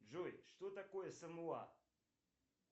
джой что такое самуа